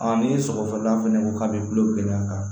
ni sɔgɔsɔgɔla fɛnɛ ko k'a be gulo gɛlɛya ka